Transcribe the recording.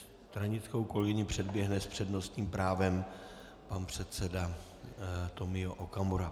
Stranickou kolegyni předběhne s přednostním právem pan předseda Tomio Okamura.